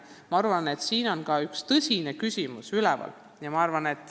Ma arvan, et siin on üks tõsine küsimus üleval.